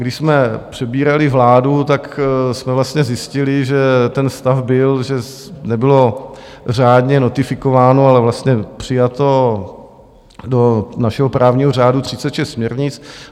Když jsme přebírali vládu, tak jsme vlastně zjistili, že ten stav byl, že nebylo řádně notifikováno, ale vlastně přijato do našeho právního řádu, 36 směrnic.